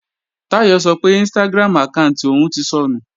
Táyọ̀ sọ pé Instagram àkáànti òun ti sọnù